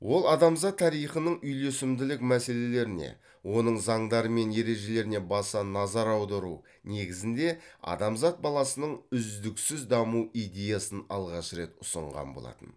ол адамзат тарихының үйлесімділік мәселелеріне оның заңдары мен ережелеріне баса назар аудару негізінде адамзат баласының үздіксіз даму идеясын алғаш рет ұсынған болатын